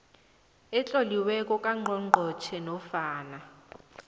etloliweko kangqongqotjhe nofana